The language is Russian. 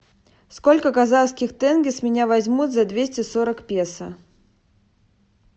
сколько казахских тенге с меня возьмут за двести сорок песо